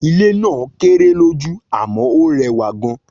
Ilé ilè náà kéré lójú àmó ọ rẹwà gan